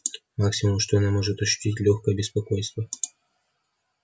максимум что она может ощутить лёгкое беспокойство